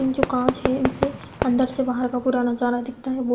जो कांच है इससे अंदर से बाहर का पूरा नजारा दिखता है। वो --